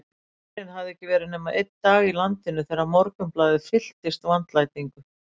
Herinn hafði ekki verið nema einn dag í landinu þegar Morgunblaðið fylltist vandlætingu.